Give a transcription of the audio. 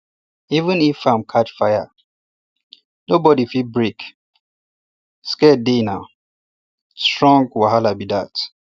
even if farm catch fire nobody fit break um sacred dayna um strong um wahala be dat